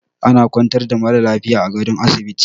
Ana kwantar da mara lafiya a gadon asibiti